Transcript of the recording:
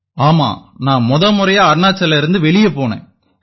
ஆமாம் நான் முத முறையா அருணாச்சல்லேர்ந்து வெளிய போனேன்